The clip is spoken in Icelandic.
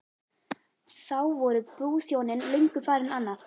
Þá voru brúðhjónin löngu farin annað.